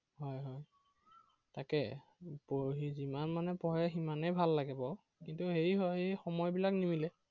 হয় হয়। তাকে, পঢ়ি যিমান মানে পঢ়ে সিমানেই ভাল লাগে বাৰু। কিন্তু হেৰি হয় এৰ সময় বিলাক নিমিলে।